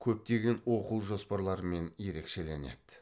көптеген оқу жоспарларымен ерекшеленеді